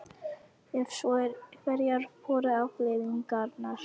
Ef svo er, hverjar voru afleiðingarnar?